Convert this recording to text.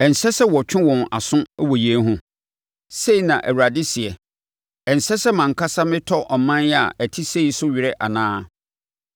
Ɛnsɛ sɛ metwe wɔn aso wɔ yei ho?” Sei na Awurade seɛ. “Ɛnsɛ sɛ mʼankasa metɔ ɔman a ɛte sei so were anaa?